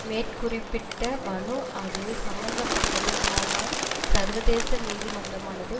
மேற்குறிப்பிட்ட மனு அது சம்பந்தப்பட்டது ஆனால் சர்வதேச நீதிமன்றமானது